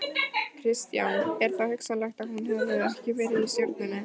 Kristján: Er þá hugsanlegt að hún verði ekki í stjórninni?